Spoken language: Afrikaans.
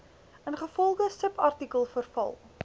ingevolge subartikel verval